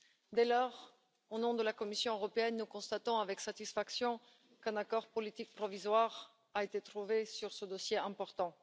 Dès lors, au nom de la Commission européenne, nous constatons avec satisfaction qu'un accord politique provisoire a été trouvé sur ce dossier important.